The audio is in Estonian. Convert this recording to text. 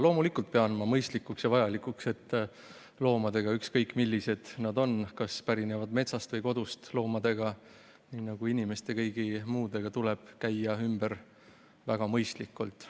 Loomulikult pean ma mõistlikuks ja vajalikuks, et loomadega, ükskõik millised nad on, kas nad pärinevad metsast või kodust, tuleb nii nagu inimestega käia ümber väga mõistlikult.